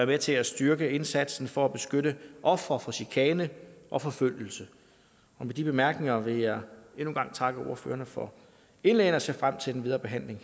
med til at styrke indsatsen for at beskytte ofre for chikane og forfølgelse med de bemærkninger vil jeg endnu en gang takke ordførerne for indlæggene og ser frem til den videre behandling